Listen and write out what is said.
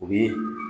O bi